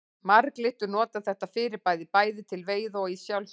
Marglyttur nota þetta fyrirbæri bæði til veiða og í sjálfsvörn.